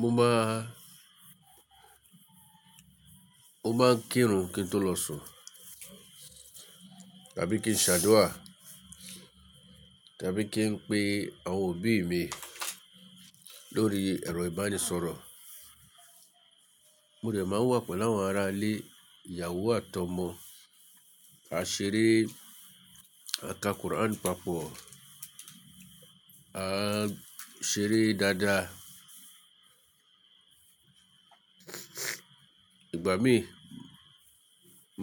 Mo máa, mo máa ń kírun kí n tó lọ sùn tàbí kí n ṣàdúrà tàbí kí n pe àwọn òbí mi lórí ẹ̀rọ ìbánisọ̀rọ̀. Mo dẹ̀ máa wà pẹ̀lú àwọn ará ilé, ìyàwó àti ọmọ. A ṣeré, a ka Quran papọ̀, a ṣeré dáadáa. Ìgbà mí